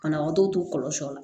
Banabagatɔw to kɔlɔlɔ